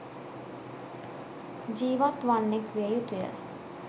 ජීවත් වන්නෙක් විය යුතුයි.